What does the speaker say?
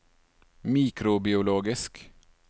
mikrobiologisk